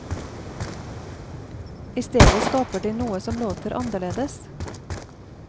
I stedet skaper de noe som låter annerledes.